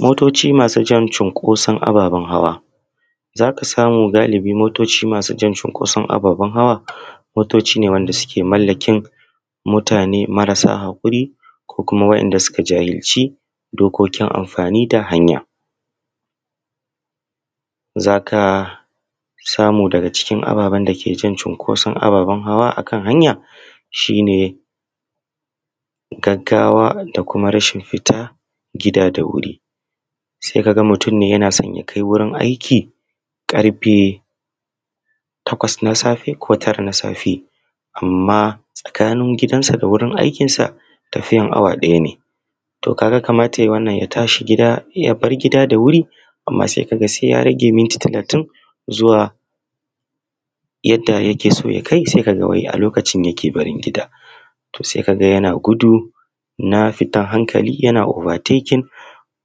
Motoci masu jan cunkosaon ababen hawa. Za ka samu galibi motoci masu jan cunkoson ababen hawa motoci ne wanda suke mallakin mutane marasa haƙuri ko kuma wa’inda suka jahilci dokokin anfani da hanya, za ka samu daga cikin ababen dake jan cunkoson ababen hawa a kan hanya shi ne gaggawa da kuma rashin fita gida da wuri, se ka ga mutum yana son ya yi wurin aiki ƙarfe takwas na safe ko tara na safe amma tsakanin gidansa da wurin aikin sa tafiyan awa ɗaya ne. A to, ka ga kamata ya yi wannan ya tashi gida ya bar gida da wuri amma se a ga se ya rage munti talatin zuwa yadda yake so ya kai se ka ga a lokacin yake barin gida. To, se ka ga yana gudu na fitan hankali ka ga yana obatekin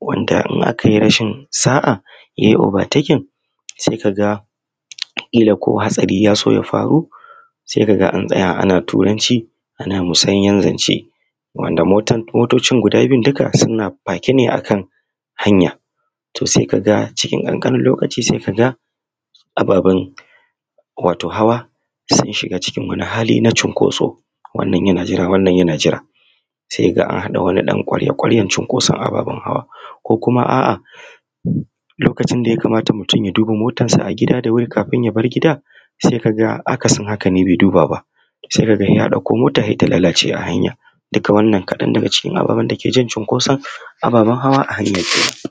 wanda in aka yi rashin sa’a ya yi obatakin se ka ga ƙila ko hatsari ya zo ya faru, se ka ga an tsaya ana Tranci ana misanyen zance wanda motocin guda biyun duka suna fakene akan hanya to se kaga cikin ƙan ƙanin lokaci se kaga ababen hawa sun shiga cikin wani hali na cunkoso wannan yana jira wannan yana jira se kaga anhaɗa wani ɗan ƙarya ƙaryan cunkoson ababen hawa ko kuma aa lokacin da mutum ya kamata ya duba motansa a gida kafun ya far gida se kaga akasin hakane be dub aba se kaga ya ɗakko mota se ta lalace a hanya duka wannan ƙaɗan da key an cunkoson ababen hawa a hanya.